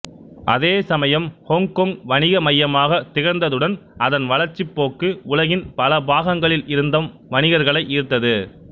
அதேசமயம் ஹொங்கொங் வணிக மையமாக திகழ்ந்ததுடன் அதன் வளர்ச்சி போக்கு உலகின் பலப்பாகங்களில் இருந்தம் வணிகர்களை ஈர்த்தது